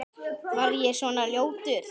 Var ég svona ljótur?